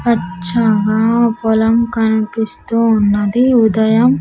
పచ్చగా పొలం కనిపిస్తూ ఉన్నది ఉదయం.